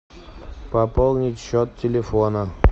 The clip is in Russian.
пополнить счет телефона